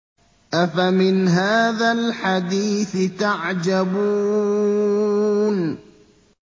أَفَمِنْ هَٰذَا الْحَدِيثِ تَعْجَبُونَ